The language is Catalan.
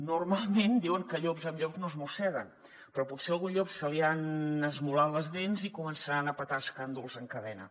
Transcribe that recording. normalment diuen que llops amb llops no es mosseguen però potser a algun llop se li han esmolat les dents i començaran a petar escàndols en cadena